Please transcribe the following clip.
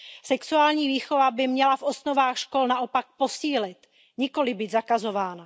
Sexuální výchova by měla v osnovách škol naopak posílit, nikoliv být zakazována.